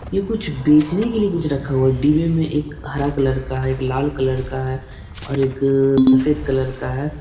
ये कुछ बेचने के लिए कुछ रखा हुआ है डिब्बे में एक हरा कलर का है एक लाल कलर का है और एक सफ़ेद कलर का है।